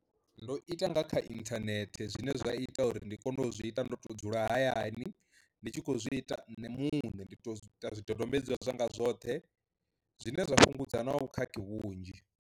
Ndo ita nga kha inthanethe zwine zwa ita uri ndi kone u zwi ita ndo to dzula hayani ndi tshi kho zwi ita nṋe muṋe ndi to ita zwidodombedzwa zwanga zwoṱhe, zwine zwa fhungudza na vhukhakhi vhunzhi.